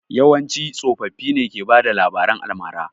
Yawanci tsoffi ne ke bada labaran almara